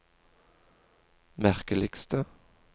merkeligste